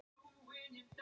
Það er ekki hægt í dag.